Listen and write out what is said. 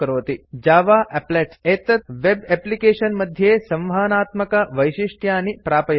जव applets Java एप्लेट्स160 एतत् web application मध्ये संवहनात्मकवैशिष्ट्यानि प्रापयति